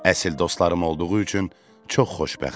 Əsl dostlarım olduğu üçün çox xoşbəxtəm.